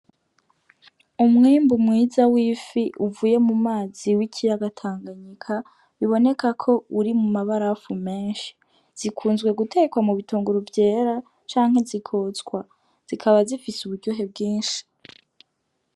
Umwimbu mwiza w'ifi uvuye mu mazi w'ikiyaga tanganyika biboneka ko uri mu mabarafu menshi, zikunzwe gutekwa mu bitunguru vyera canke zikotswa zikaba zifise uburyohe bwinshi.